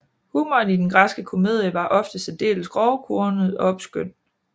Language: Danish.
Humoren i den græske komedie var ofte særdeles grovkornet og obskøn